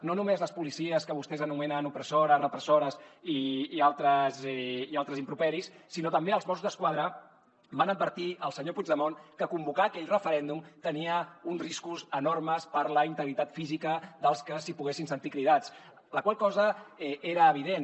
no només les policies que vostès anomenen opressores repressores i altres improperis sinó també els mossos d’esquadra van advertir el senyor puigdemont que convocar aquell referèndum tenia uns riscos enormes per la integritat física dels que s’hi poguessin sentir cridats la qual cosa era evident